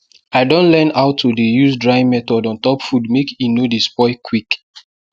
i don learn how to dey use drying method on top food make e no dey spoil quick